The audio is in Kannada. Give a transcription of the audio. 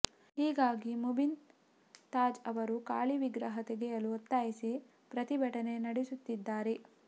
ಹೀಗಾಗಿ ಮುಬೀನ್ ತಾಜ್ ಅವರು ಕಾಳಿ ವಿಗ್ರಹ ತೆಗೆಯಲು ಒತ್ತಾಯಿಸಿ ಪ್ರತಿಭಟನೆ ನಡೆಸುತ್ತಿದ್ದಾರೆ